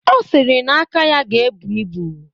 Ọ sịrị na aka ya ga-ebu ibu.